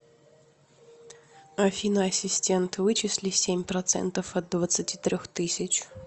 афина ассистент вычисли семь процентов от двадцати трех тысяч